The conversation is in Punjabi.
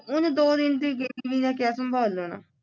ਉਹਨੇ ਦੋ ਦਿਨ ਦੀ ਗਈ ਉਹਨੇ ਕਿਆ ਸੰਭਾਲ ਲੈਣਾ